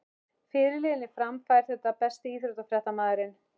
Fyrirliðinn í Fram fær þetta Besti íþróttafréttamaðurinn?